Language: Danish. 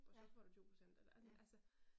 Ja. Ja